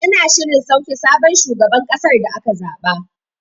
Ana shirin sauke sabon shugaban kasar da aka zaɓa.